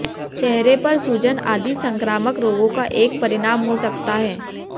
चेहरे पर सूजन आदि संक्रामक रोगों का एक परिणाम हो सकता है